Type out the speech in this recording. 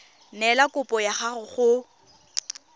neela kopo ya gago go